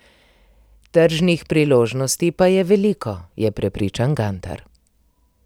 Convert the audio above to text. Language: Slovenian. Tržnih priložnosti pa je veliko, je prepričan Gantar.